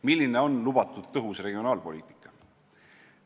Milline on lubatud tõhus regionaalpoliitika?